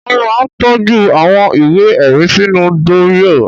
Wọ́n máa ń tọ́jú àwọn ìwé-ẹ̀rí sínú dúrọ́à.